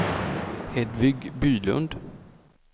Hedvig Bylund